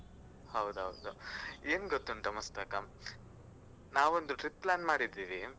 ಹೌದ್ ಹೌದು, ಏನ್ ಗೊತ್ತುಂಟ ಮುಸ್ತಾಕ್ ನಾವೊಂದು trip plan ಮಾಡಿದ್ದೀವಿ.